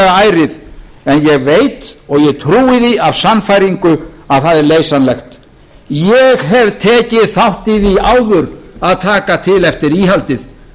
en ég veit og trúi því af sannfæringu að það er leysanlegt ég hef tekið þátt í því áður að taka til eftir íhaldið